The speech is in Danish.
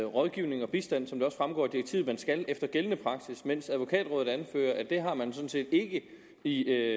rådgivning og bistand som det også fremgår af direktivet at man skal efter gældende praksis mens advokatrådet anfører at det har man sådan set ikke i